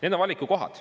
Need on valikukohad.